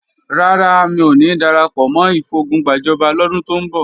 Rárá, mi ò ní darapọ̀ mọ́ ìfogun gbàjọba lọ́dún tó ń bọ̀